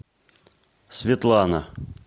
светлана